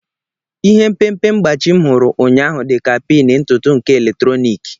Ihe mpempe mgbachi m hụrụ ụnyaahụ dị ka pin ntutu nke eletrọnịkị.